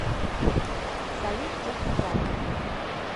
салют техно клаб